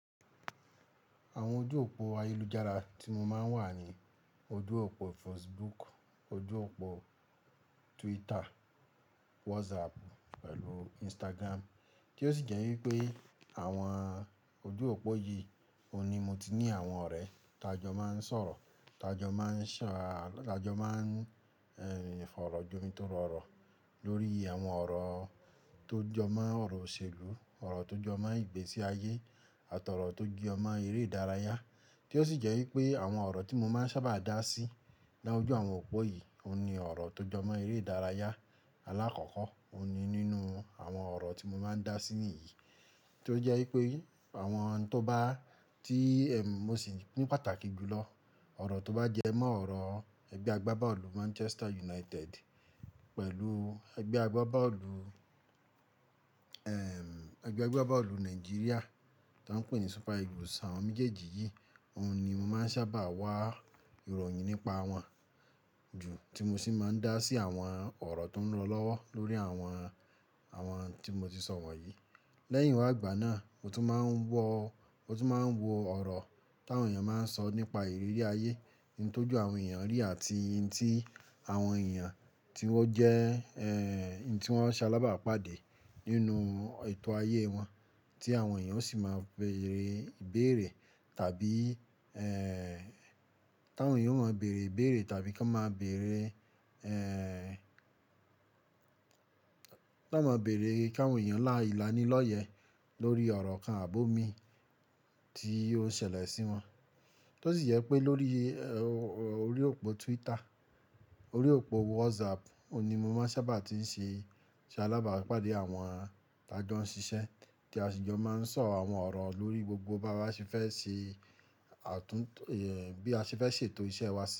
Àwọn ojú òpó ayélujára tí mo máa ń wà ni, ojú òpó Facebook, ojú òpó, Twitter, WhatsApp pẹ̀lú Instagram. Tí ó sì jẹ́ wípé àwọn ojú òpó yìí, òun ni mo ti ní àwọn ọ̀rẹ́, t'ajọ máa ń sọ̀rọ̀, t'ajọ máa ń ṣà, t'ajọ máa ń, ẹ́, fọ̀rọ̀jomi tó rọrọ̀ lórí àwọn ọ̀rọ̀ tó jọ mọ́ ọ̀rọ̀ òṣèlú, ọ̀rọ̀ tó jọ mọ́ ìgbésí ayé àto ọ̀rọ̀ tó jọ mọ́ eré ìdárayá. Tí ó sì jẹ́ wípé àwọn ọ̀rọ̀ tí mo máa ń sábà dá sí.lójú àwọn òpó yìí, òun ni ọ̀rọ̀ tó jọ mọ́ eré ìdárayá. Alákọ̀ọ́kọ́, òun ni nínú àwọn ọ̀rọ̀ tí mo máa ń dá sí níyìí. Tí ó jẹ́ wípé àwọn tó bá tí, ẹ́m, mo sì pín pàtàkì jù lọ, ọ̀rọ̀ tó bá jẹ́ mọ́ ọ̀rọ̀ ẹgbẹ́ agbábọ́ọ̀lù Manchester United pẹ̀lú ẹgbẹ́ agbábọ́ọ̀lù, ẹ́m, ẹgbẹ́ agbábọ́ọ̀lù Nàìjíríà tó ń pè ní Super Eagles. Àwọn méjèèjì yìí, òun ni mo máa ń sábà wá ìròyìn nípa wọn. Ju tí mo sì máa ń dá sí àwọn ọ̀rọ̀ tó ń rọ lọ́wọ́ lórí àwọn, àwọn tí mo ti sọ wọ̀nyí. Lẹ́yìn wá gbà náà, mo tún máa ń wọ, mo tún máa ń wo ọ̀rọ̀ táwọn èèyàn máa ń sọ nípa ìrírí ayé, ohun tó jọ àwọn èèyàn rí àti ohun tí àwọn èèyàn, tí wọ́n jẹ́, ẹ́ẹ́, ohun tí wọ́n ṣe alábàápàdé nínú ètò ayé wọn, tí àwọn èèyàn sì máa bẹ̀rẹ̀ ìbéèrè tàbí, ẹ́ẹ́, táwọn èèyàn máa bẹ̀rẹ̀ ìbéèrè tàbí ká n máa bẹ̀rẹ̀, ẹ́ẹ́, ká máa bẹ̀rẹ̀ kí àwọn èèyàn lá ìlanilọ́yẹ́. Lórí ọ̀rọ̀ kan àbòmi tí ó ń ṣẹlẹ̀ sí wọn. Tí ó sì jẹ́ pé lórí, ẹ́ẹ́, orí òpó Twitter, orí òpó WhatsApp òun ni mo máa ń sábà tí ń ṣe, ṣe alábàápàdé àwọn t'ajọ ń ṣiṣẹ́ tí a sì jọ máa ń sọ àwọn ọ̀rọ̀ lórí gbogbo bá wa ṣe fẹ́ ṣe àtúntò, ẹ́ẹ́, bí a ṣe fẹ́ ṣètò iṣẹ́ wa sí.